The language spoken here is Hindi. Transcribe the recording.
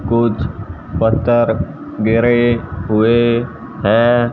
कुछ पत्थर गिरे हुए है।